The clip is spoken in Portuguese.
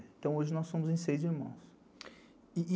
Então, hoje nós somos em seis irmãos.